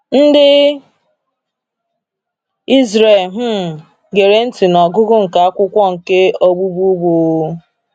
Ndị Israel um gere ntị n’ọgụgụ nke “akwụkwọ nke ọgbụụgbụ.”